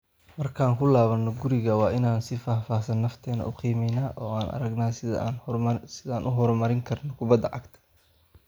Markaan ku laabano (guriga), waa inaan si faahfaahsan nafteena u qiimeynaa oo aan aragnaa sida aan u horumarin karno kubada cagta.